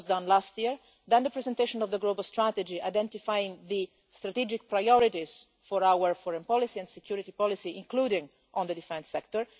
That was done last year. Then came the presentation of the global strategy identifying the strategic priorities for our foreign policy and security policy, including in the defence sector.